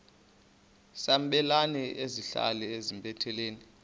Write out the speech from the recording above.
sabelani zenihlal etempileni